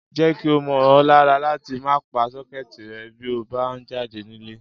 Jé̩ kí ó mó̩ o̩ lára láti máa pa só̩ké̩è̩tì re̩ bí o bá ń jáde nílé